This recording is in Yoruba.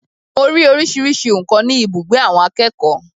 Mo ri oríṣiríṣi nǹkan ni ibùgbé àwọn akẹ́kọ̀ọ́.